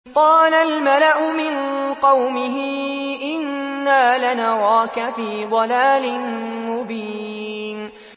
قَالَ الْمَلَأُ مِن قَوْمِهِ إِنَّا لَنَرَاكَ فِي ضَلَالٍ مُّبِينٍ